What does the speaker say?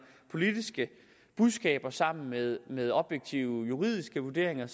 politiske budskaber sammen med med objektive juridiske vurderinger